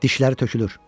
Dişləri tökülür.